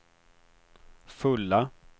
fulla